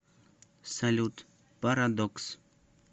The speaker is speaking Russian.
салют парадокс